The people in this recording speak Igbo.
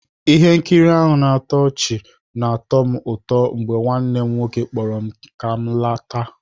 Ihe nkiri ahụ na-atọ ọchị na-atọ m ụtọ mgbe nwanne m nwoke kpọrọ m ka m lọta